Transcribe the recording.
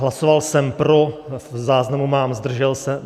Hlasoval jsem pro, v záznamu mám "zdržel se".